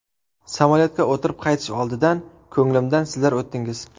Samolyotga o‘tirib, qaytish oldidan ko‘nglimdan sizlar o‘tdingiz.